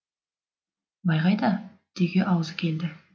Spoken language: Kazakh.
бай қайда деуге аузы келді